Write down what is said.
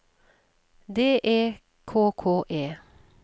D E K K E